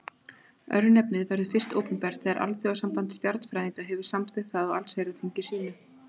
Örnefnið verður fyrst opinbert þegar Alþjóðasamband stjarnfræðinga hefur samþykkt það á allsherjarþingi sínu.